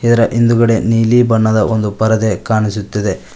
ಇದರ ಹಿಂದುಗಡೆ ನೀಲಿ ಬಣ್ಣದ ಒಂದು ಪರದೆ ಕಾಣಿಸುತ್ತಿದೆ.